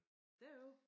Derovre?